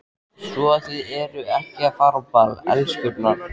Svo að þið eruð að fara á ball, elskurnar?